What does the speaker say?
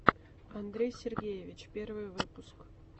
андрей сергеевич первый выпуск